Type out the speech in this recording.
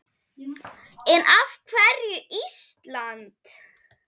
En af hverju Ísland?